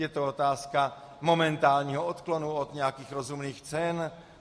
Je to otázka momentálního odklonu od nějakých rozumných cen?